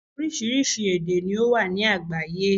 Orísirísi èdè ni ó wà ní àgbáyé